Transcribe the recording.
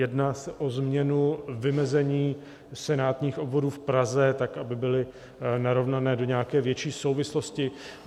Jedná se o změnu vymezení senátních obvodů v Praze tak, aby byly narovnané do nějaké větší souvislosti.